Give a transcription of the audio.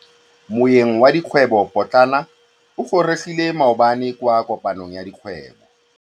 Moêng wa dikgwêbô pôtlana o gorogile maabane kwa kopanong ya dikgwêbô.